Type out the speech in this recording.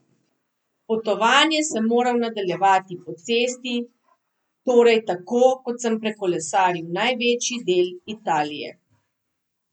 Potovanje sem moral nadaljevati po cesti, torej tako, kot sem prekolesaril največji del Italije.